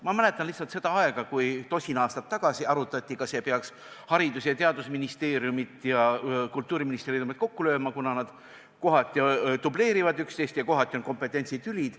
Ma mäletan seda aega, kui tosin aastat tagasi arutati, kas ei peaks Haridus- ja Teadusministeeriumi ja Kultuuriministeeriumi kokku lööma, kuna nad kohati dubleerivad üksteist ja kohati on kompetentsitülid.